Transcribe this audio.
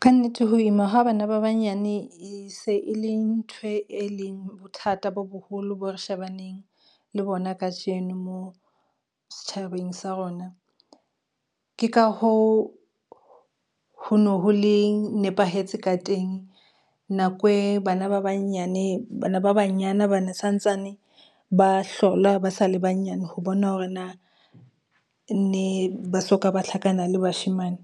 Ka nnete ho ima ha bana ba banyane e se e le nthwe, e leng bothata bo boholo boo re shebaneng le bona kajeno moo setjhabeng sa rona, ke ka hoo ho no ho le nepahetse ka teng. Nako e bana ba banyane bana ba banyana ba ne santsane ba hlola ba sa le banyane ho bona, hore na ne ba soka ba tlhankana le bashemane.